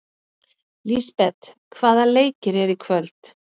Lisbeth, hvaða leikir eru í kvöld?